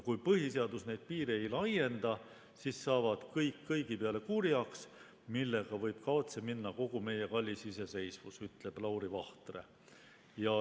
"Kui põhiseadus neid piire ei laienda, siis saavad kõik kõigi peale kurjaks, millega võib kaotsi minna kogu meie kallis iseseisvus," ütleb Lauri Vahtre.